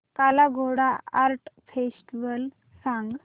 काला Ghoda art festival सांग